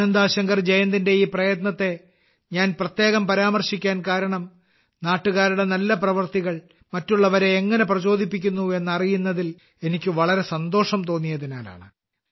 ആനന്ദാ ശങ്കർ ജയന്തിന്റെ ഈ പ്രയത്നത്തെ ഞാൻ പ്രത്യേകം പരാമർശിക്കാൻ കാരണം നാട്ടുകാരുടെ നല്ല പ്രവൃത്തികൾ മറ്റുള്ളവരെ എങ്ങനെ പ്രചോദിപ്പിക്കുന്നു എന്നറിയുന്നതിൽ എനിക്ക് വളരെ സന്തോഷം തോന്നിയതിനാലാണ്